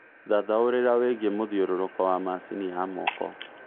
thathaũrĩra wĩigie mũthiũrũrũko wa macĩnĩ ya moko